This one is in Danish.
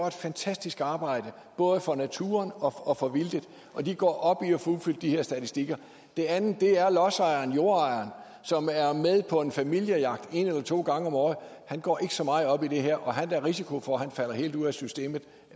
et fantastisk arbejde både for naturen og for vildtet og de går op i at få udfyldt de her statistikker det andet er lodsejeren jordejeren som er med på en familiejagt en eller to gange om året han går ikke så meget op i det her og han har da risiko for at falde helt ud af systemet